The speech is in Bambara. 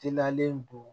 Teliyalen don